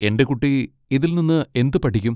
എന്റെ കുട്ടി ഇതിൽ നിന്ന് എന്ത് പഠിക്കും?